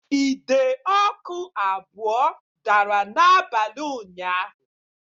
Ide ọkụ abụọ dara n'abalị ụnyaahụ